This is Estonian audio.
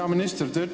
Hea minister!